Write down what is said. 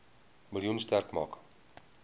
miljoen sterk maak